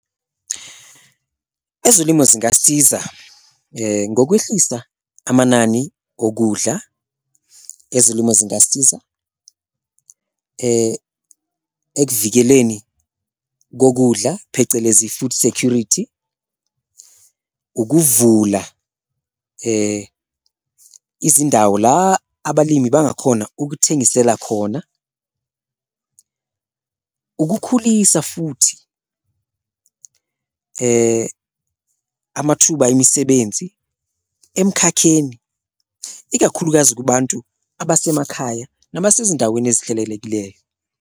Ezolimo zingasiza ngokwehlisa amanani okudla, ezolimo zingasiza ekuvikeleni kokudla phecelezi i-food security, ukuvula izindawo la abalimi bangakhona ukuthengisela khona, ukukhulisa futhi amathuba emisebenzi emkhakheni, ikakhulukazi kubantu abasemakhaya nabasezindaweni ezihlelelekileyo.